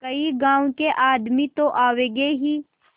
कई गाँव के आदमी तो आवेंगे ही